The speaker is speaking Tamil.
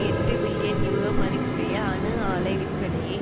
எட்டு பில்லியன் யூரோ மதிப்புடைய அணு ஆலை விற்பனையை